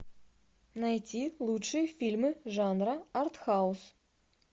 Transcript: найти лучшие фильмы жанра артхаус